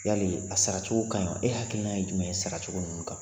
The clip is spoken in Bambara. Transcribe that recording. Yali a saracogo ka ɲi e hakilina ye jumɛn ye saracogo ninnu kan